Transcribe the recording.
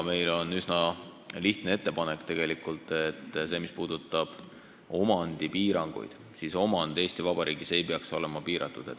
Meil on üsna lihtne ettepanek, mis puudutab omandipiiranguid: omand ei tohiks Eesti Vabariigis olla piiratud.